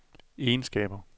egenskaber